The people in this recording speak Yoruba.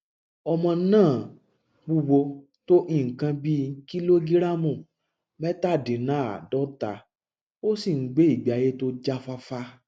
ọmọ náàaa wúwo tó nǹkan bíi kìlógíráàmù mẹtadínáàádọta ó sì ń gbé ìgbé ayé tó jáfáfá